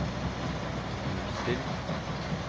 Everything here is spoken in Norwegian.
nullstill